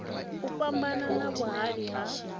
u fhambana na vhuhali ha